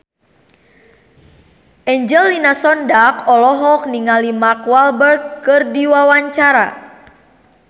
Angelina Sondakh olohok ningali Mark Walberg keur diwawancara